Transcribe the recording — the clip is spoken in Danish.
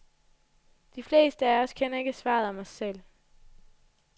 De fleste af os kender ikke svaret om os selv.